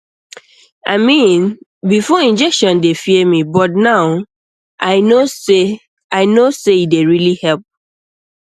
i mean before injection dey fear me but now i know say i know say e dey really help